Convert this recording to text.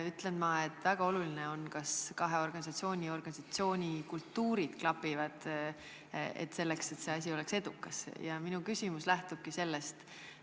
Minu arvates on väga oluline, kas kahe organisatsiooni kultuurid klapivad, ja mu küsimus lähtubki sellest.